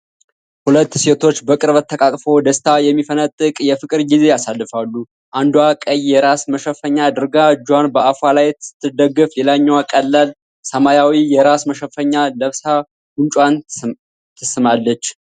ሁለት ሴቶች በቅርበት ተቃቅፈው ደስታ የሚፈነጥቅ የፍቅር ጊዜ ያሳልፋሉ። አንዷ ቀይ የራስ መሸፈኛ አድርጋ እጇን በአፏ ላይ ስትደግፍ፣ ሌላኛዋ ቀላል ሰማያዊ የራስ መሸፈኛ ለብሳ ጉንጯን ትስማለች፡፡